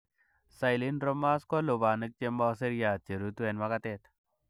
Cylindromas ko lubanik chemo seriat cherutu en makatet.